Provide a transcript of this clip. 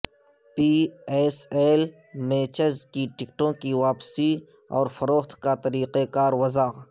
پی S L matches کی ٹکٹوں کی واپسی اورفروخت کا طریقہ کار وضع